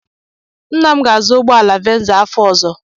Nna m ga-azụ ụgbọala Venza afọ ọzọ.